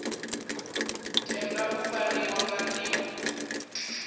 tenda u fariwa nga nḓila